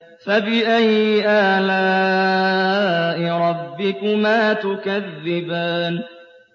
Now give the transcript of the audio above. فَبِأَيِّ آلَاءِ رَبِّكُمَا تُكَذِّبَانِ